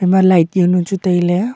ema light yao nu chu tailey.